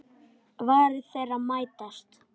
Varir þeirra mætast.